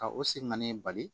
Ka o siman ni bali